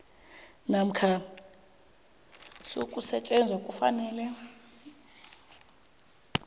namkha sokusetjenzwa kufanele